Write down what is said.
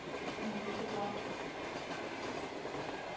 കൂട്ടീട്ട് പോവ്വാ